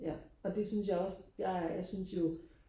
ja og det synes jeg også jeg synes jo